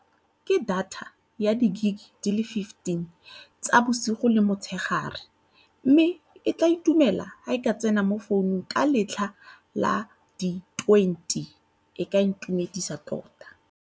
Ke data ya di-gig di le fifteen tsa bosigo le motshegare mme ke tla itumela ha e ka tsena mo founung ka letlha la di twenty e ka intumedisa tota.